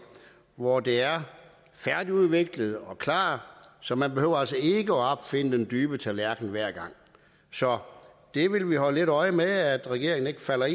hvor det er færdigudviklet og klart så man behøver altså ikke at opfinde den dybe tallerken hver gang så vi vil holde lidt øje med at regeringen ikke falder